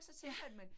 Ja